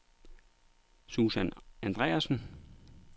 Susan Andreasen